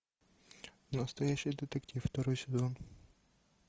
настоящий детектив второй сезон